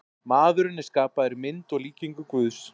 Maðurinn er skapaður í mynd og líkingu Guðs.